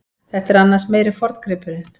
Þetta er annars meiri forngripurinn.